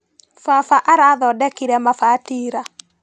Baba arathondekire mabati ira.